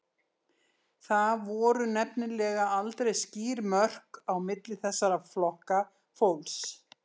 Það voru nefnilega aldrei skýr mörk á milli þessara flokka fólks.